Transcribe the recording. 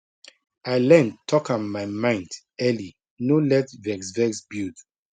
i learn talk am my mind early no let vex vex build